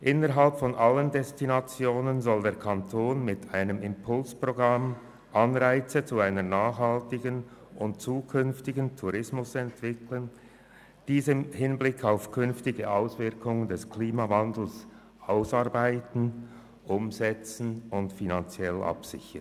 Der Kanton soll mit einem Impulsprogramm Anreize zu einer nachhaltigen und zukünftigen Tourismusentwicklung im Hinblick auf künftige Auswirkungen des Klimawandels ausarbeiten, er soll umsetzen und finanziell absichern.